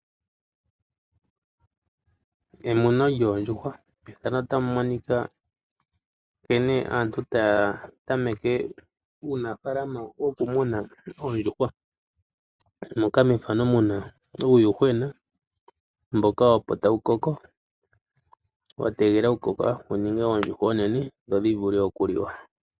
Emuno lyoondjuhwa, mefano otamu monika nkene aantu taya tameke uunafalama woku muna oondjuhwa. Moka mefano muna uuyuhwena mboka opo tawu koko, wategelela oku koka wowu ninge oondjuhwa onene dhodhi vulu oku liwa.